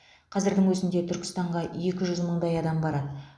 қазірдің өзінде түркістанға екі жүз мыңдай адам барады